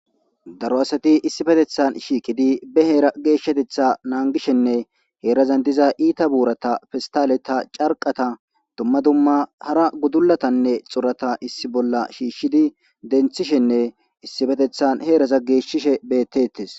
Daro asati issippetetani shiqidi hera geshatetha nagishene herazan diza ita burata pestaleta ca,rqeta duma duma hara gudulatane xurata issi bolla shishidi dentishene issippetetani herata geshishe betetes